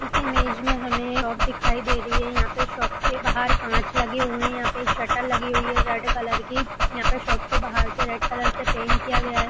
इस इमेज में हमें शॉप दिखाई दे रही है| यहाँ पे शॉप के बाहर काँच लगे हुए हैं| यहाँ पर एक शटर लगी हुई है रेड कलर की यहाँ पे शॉप को बाहर से रेड कलर से पेंट किया गया है।